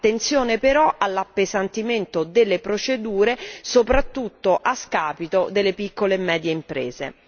Attenzione però all'appesantimento delle procedure, soprattutto a scapito delle piccole e medie imprese.